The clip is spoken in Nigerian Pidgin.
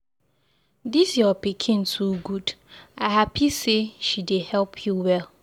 Dis your pikin too good, I happy say she dey help you well.